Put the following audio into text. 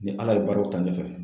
Ni ALA ye baaraw ta ɲɛfɛ.